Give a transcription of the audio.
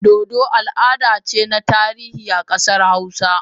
Dodo al'ada ce na tarihi a kasar hausa